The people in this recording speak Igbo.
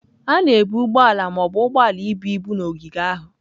A na-ebu ụgbọ ala ma ọ bụ ụgbọ ala ibu ibu na ogige ahụ.